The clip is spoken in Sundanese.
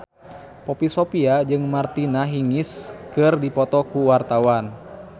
Poppy Sovia jeung Martina Hingis keur dipoto ku wartawan